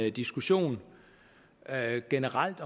en diskussion generelt